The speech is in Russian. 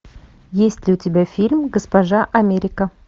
есть ли у тебя фильм госпожа америка